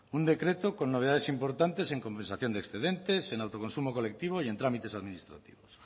un decreto con novedades importantes en compensación de excedentes en autoconsumo colectivo y en trámites administrativos